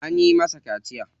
An yi masa kaciya?